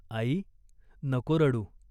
"आई, नको रडू.